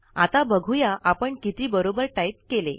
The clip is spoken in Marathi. आता बघूया आपण किती बरोबर टाईप केले